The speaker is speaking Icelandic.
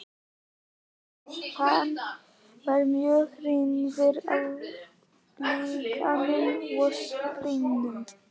En hann var mjög hrifinn af líkaninu og gripnum.